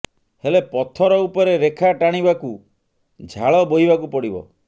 ହେଲେ ପଥର ଉପରେ ରେଖା ଟାଣିବାକୁ ଝାଳ ବୋହିବାକୁ ପଡ଼ିବ